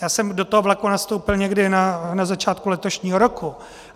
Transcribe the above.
Já jsem do toho vlaku nastoupil někdy na začátku letošního roku.